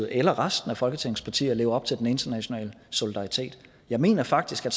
eller resten af folketingets partier lever op til den internationale solidaritet jeg mener faktisk at